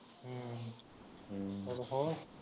ਹਮ ਚਲੋ ਹੋਰ